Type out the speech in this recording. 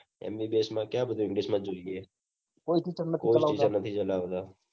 MBBS માં ક્યાં બઘુ English માં જોઈએ કોઈ નથી ચલાવતા